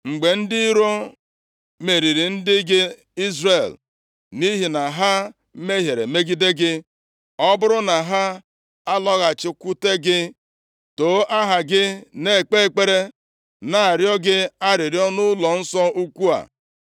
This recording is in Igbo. “Mgbe ndị iro meriri ndị gị Izrel, nʼihi na ha mehiere megide gị, ọ bụrụ na ha alọghachikwute gị, too aha gị, na-ekpe ekpere, na-arịọ gị arịrịọ nʼụlọnsọ ukwu a,